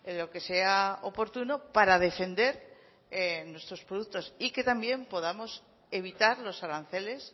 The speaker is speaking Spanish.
lo que sea oportuno para defender nuestros productos y que también podamos evitar los aranceles